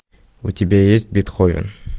у тебя есть бетховен